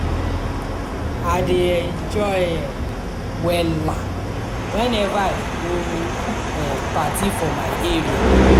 i dey enjoy um wella weneva i go um party for my area.